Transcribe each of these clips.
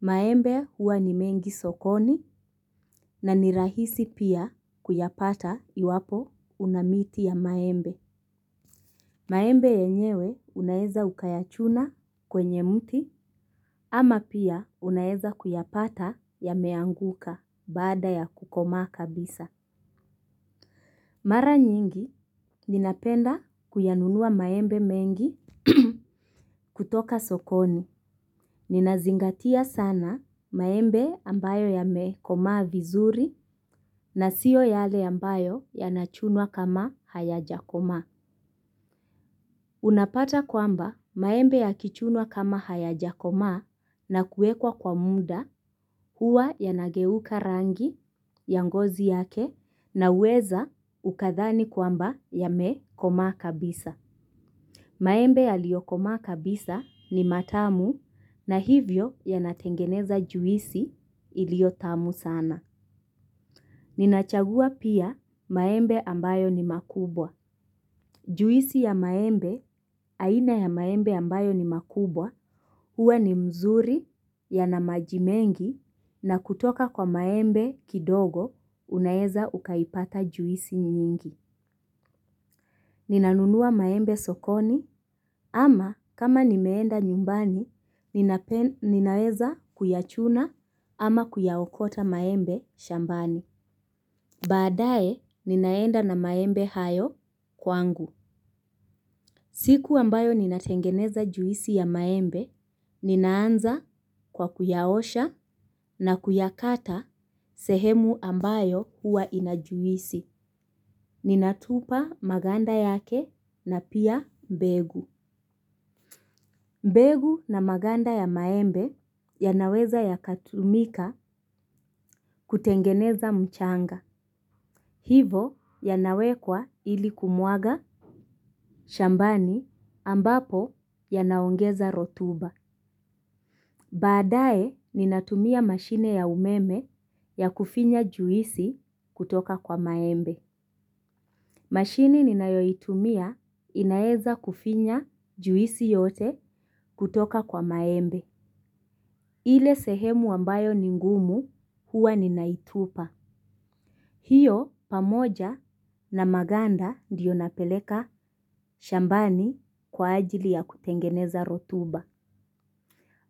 maembe huwa ni mengi sokoni na ni rahisi pia kuyapata iwapo unamiti ya maembe. Maembe yenyewe unaeza ukayachuna kwenye mti ama pia unaeza kuyapata yameanguka baada ya kukomaa kabisa. Mara nyingi ninapenda kuyanunua maembe mengi kutoka sokoni. Ninazingatia sana maembe ambayo yamekomaa vizuri na sio yale ambayo yanachunwa kama hayajakomaa. Unapata kwamba maembe ya kichunwa kama hayaja komaa na kuwekwa kwa muda huwa yanageuka rangi ya ngozi yake na huweza ukadhani kwamba yamekomaa kabisa. Maembe yaliokoma kabisa ni matamu na hivyo yanatengeneza juisi ilio tamu sana. Ninachagua pia maembe ambayo ni makubwa. Juisi ya maembe, aina ya maembe ambayo ni makubwa, huwa ni mzuri yanamaji mengi na kutoka kwa maembe kidogo, unaeza ukaipata juisi nyingi. Ninanunua maembe sokoni ama kama nimeeda nyumbani ninaweza kuyachuna ama kuyaokota maembe shambani. Baadae, ninaenda na maembe hayo kwangu. Siku ambayo ninatengeneza juisi ya maembe ninaanza kwa kuyaosha na kuyakata sehemu ambayo huwa ina juisi. Ninatupa maganda yake na pia mbegu. Mbegu na maganda ya maembe yanaweza yakatumika kutengeneza mchanga. Hivo yanawekwa ili kumwaga shambani ambapo yanaongeza rotuba. Baadae ninatumia mashine ya umeme ya kufinya juisi kutoka kwa maembe. Mashini ninayoitumia inaeza kufinya juisi yote kutoka kwa maembe. Ile sehemu ambayo ningumu huwa ninaitupa. Hiyo pamoja na maganda ndio napeleka shambani kwa ajili ya kutengeneza rotuba.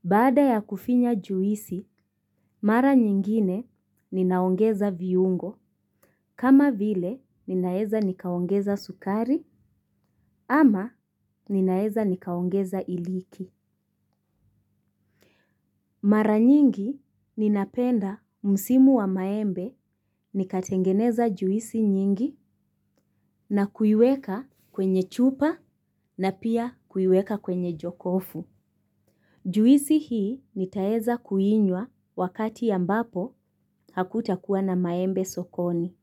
Baada ya kufinya juisi, mara nyingine ninaongeza viungo kama vile ninaeza nikaongeza sukari ama ninaeza nikaongeza iliki. Mara nyingi ninapenda msimu wa maembe nikatengeneza juisi nyingi na kuiweka kwenye chupa na pia kuiweka kwenye jokofu. Juisi hii nitaeza kuinywa wakati ambapo hakutakuwa na maembe sokoni.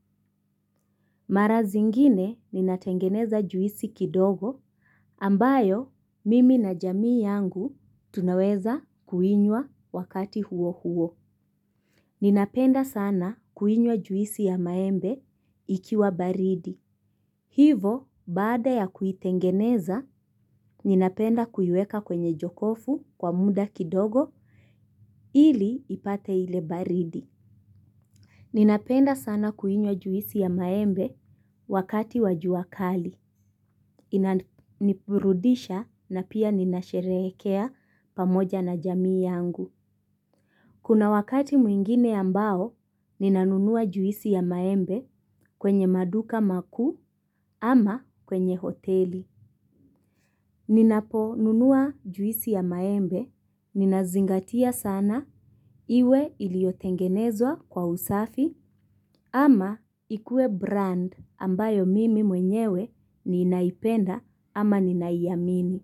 Mara zingine ninatengeneza juisi kidogo ambayo mimi na jamii yangu tunaweza kuinywa wakati huo huo. Ninapenda sana kuinywa juisi ya maembe ikiwa baridi. Hivo, baada ya kuitengeneza, ninapenda kuiweka kwenye jokofu kwa muda kidogo ili ipate ile baridi. Ninapenda sana kuinywa juisi ya maembe wakati wa jua kali. Inaniburudisha na pia ninasherehekea pamoja na jamii yangu. Kuna wakati mwingine ambao ninanunua juisi ya maembe kwenye maduka makuu ama kwenye hoteli. Ninapo nunua juisi ya maembe, ninazingatia sana iwe iliyotengenezwa kwa usafi ama ikue brand ambayo mimi mwenyewe ninaipenda ama ninaiamini.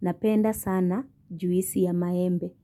Napenda sana juisi ya maembe.